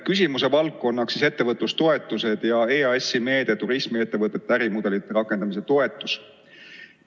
Küsimuse valdkonnaks on ettevõtlustoetused ja EAS-i meede "Turismiettevõtete ärimudelite rakendamise toetus".